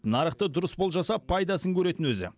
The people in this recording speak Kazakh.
нарықты дұрыс болжаса пайдасын көретін өзі